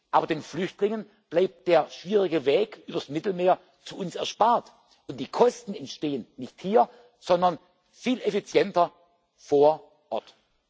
zurück. Aber den Flüchtlingen bleibt der schwierige Weg übers Mittelmeer zu uns erspart, und die Kosten entstehen nicht hier, sondern viel effizienter